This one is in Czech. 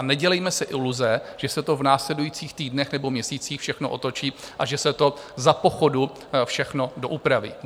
A nedělejme si iluze, že se to v následujících týdnech nebo měsících všechno otočí a že se to za pochodu všechno doupraví.